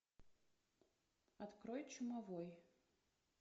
открой чумовой